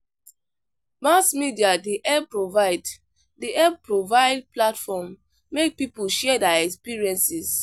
Mass media dey help provide dey help provide platform make people share their experiences.